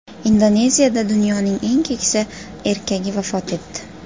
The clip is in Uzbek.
Indoneziyada dunyoning eng keksa erkagi vafot etdi.